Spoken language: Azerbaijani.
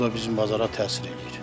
O da bizim bazara təsir eləyir.